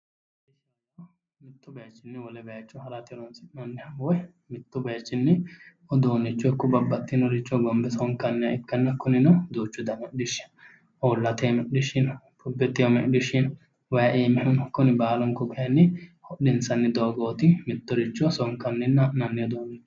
Mittu bayichinni wole bayicho harate horonsi'nanniha woyi mittu bayichinni uduunicho ikko babbaxinoricho hogonibbe sonikanniha ikkana kunino duuchu dani hodhishi uulate aanni hodhishi no ayerete iimi hodhishi no way uimihu no kuni baalunku kayinni hodhisanni doogooti Mitto richo sonkanninna adhinanni doogooti